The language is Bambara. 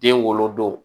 Den wolodon